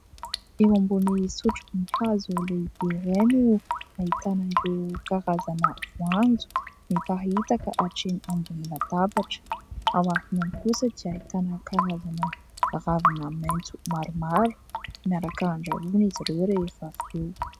Eo ambony sotrobe hazo lehibe iray no ahitana ireo karazana voanjo miparitaka hatreny ambony latabatra. Ao aorianany kosa ahitana karazana ravina maitso maromaro miaraka andrahona izy ireo rehefa avy eo.